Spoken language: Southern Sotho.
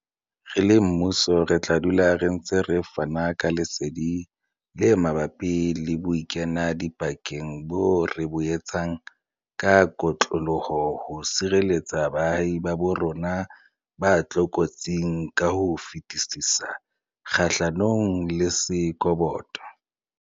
Re le mmuso re tla dula re ntse re fana ka lesedi le mabapi le bokenadipakeng boo re bo etsang ka kotloloho ho sireletsa baahi ba bo rona ba tlokotsing ka ho fetisisa kgahlanong le sekoboto.